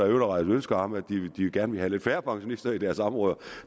ønske om at de gerne vil have lidt færre pensionister i deres områder